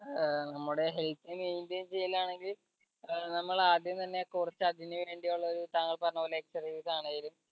ഏർ നമ്മുടെ health maintain ചെയ്യലാണെങ്കിൽ ഏർ നമ്മൾ ആദ്യം തന്നെ കൊറച്ച് അതിനു വേണ്ടി ഉള്ളൊരു താങ്കൾ പറഞ്ഞപോലെ exercises ആണേലും